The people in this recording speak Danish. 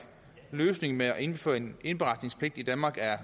løsningen med at indføre en indberetningspligt i danmark er